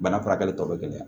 Bana furakɛli tɔ be gɛlɛya